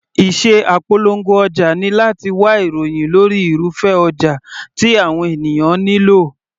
Iṣẹ́ apolongo ọjà ni láti wá ìròhìn lórí irúfẹ́ ọjà tí àwọn ènìyàn nílò.